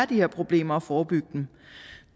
de her problemer og forebygge dem